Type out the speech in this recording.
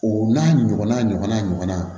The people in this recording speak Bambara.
O n'a ɲɔgɔnna ɲɔgɔnna ɲɔgɔnna